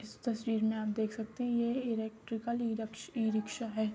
इस तस्वीर में आप देख सकते है ये इलेक्ट्रिकल इ इ रिक्शा है।